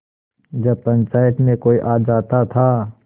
जब पंचायत में कोई आ जाता था